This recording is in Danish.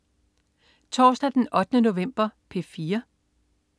Torsdag den 8. november - P4: